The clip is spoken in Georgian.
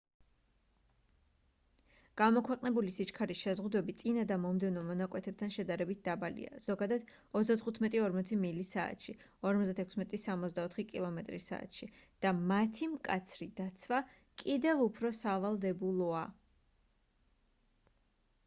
გამოქვეყნებული სიჩქარის შეზღუდვები წინა და მომდევნო მონაკვეთებთან შედარებით დაბალია — ზოგადად 35-40 მილი/სთ 56-64 კმ/ სთ — და მათი მკაცრი დაცვა კიდევ უფრო სავალდებულოა